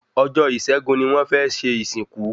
Ọjọ́ ìṣẹ́gun ni wọ́n fẹ́ ṣe ìsìnkú